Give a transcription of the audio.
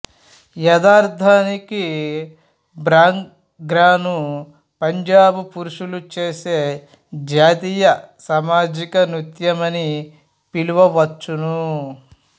యధార్ధానికి భాంగ్రాను పంజాబు పురుషులు చేసే జాతీయ సామాజిక నృత్య మని పిలువవచ్చును